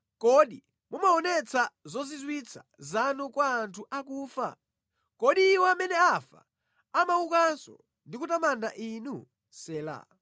Kodi mumaonetsa zozizwitsa zanu kwa anthu akufa? Kodi iwo amene afa amaukanso ndi kutamanda Inu? Sela